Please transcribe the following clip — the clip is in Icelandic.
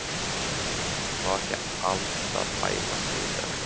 Má ekki Alda bæla sig í dag.